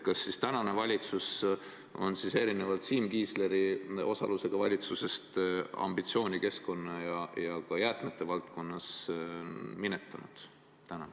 Kas praegune valitsus on erinevalt Siim Kiisleri osalusega valitsusest kõrged ambitsioonid keskkonna ja jäätmete valdkonnas minetanud?